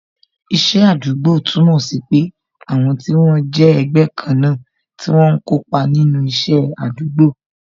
Iṣẹ́ àdúgbò túmọ̀ sí pé àwọn tí wọ́n jẹ́ ẹgbẹ́ kan náà tí wọ́n ń kópa nínú isẹ àdúgbò